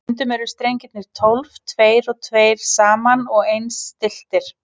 Stundum eru strengirnir tólf, tveir og tveir saman og eins stilltir.